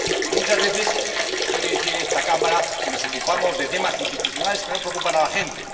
Porque muchas veces se oye decir en esta Cámara que nos ocupamos de temas institucionales que no preocupan a la gente.